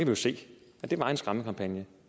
jo se at det var en skræmmekampagne